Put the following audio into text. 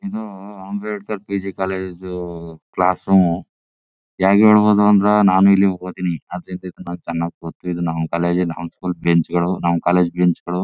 ಇದು Ambedkar PG college class room ಹೆಂಗ್ ಹೇಳಬಹುದು ಅಂದ್ರೆ ನಾನು ಇಲ್ಲಿ ಓದಿನಿ ಅದ್ರಿಂದ ನಂಗೆ ಚನ್ನಾಗ್ ಗೊತ್ತು ಇದು ನಮ್ಮ ಕಾಲೇಜ್ ನಮ್ಮ ಸ್ಕೂಲ್ ಬೆಂಚ್ ಗಳು ನಮ್ಮ ಕಾಲೇಜ್ ಬೆಂಚ್ ಗಳು--